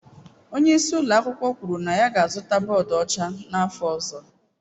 Onye isi ụlọ akwụkwọ kwuru na ya ga-azụta bọọdụ ọcha n'afọ ọzọ.